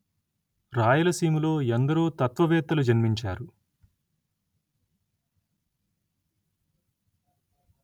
రాయలసీమలో ఎందరో తత్వవేత్తలు జన్మించారు